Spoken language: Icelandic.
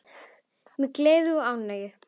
Mikil gleði og ánægja.